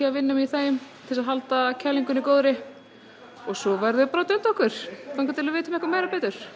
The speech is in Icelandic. að vinna í þeim til að halda kælingunni góðri svo verðum við bara að dunda okkur þangað til við vitum eitthvað meira